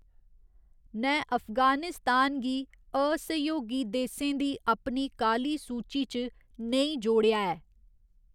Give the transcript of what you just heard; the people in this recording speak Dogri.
नै अफगानिस्तान गी असहयोगी देसें दी अपनी काली सूची च नेईं जोड़ेआ ऐ।